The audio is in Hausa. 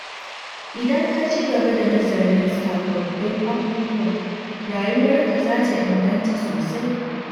Idan ka ci gaba da nazarin sababbin abubuwa, rayuwarka za ta inganta sosai.